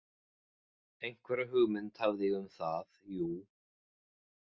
Einhverja hugmynd hafði ég um það, jú.